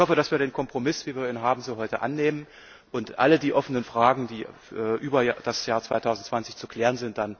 Ich hoffe also, dass wir den Kompromiss, wie wir ihn haben, so heute annehmen und alle die offenen Fragen, die über das Jahr 2020 hinaus zu klären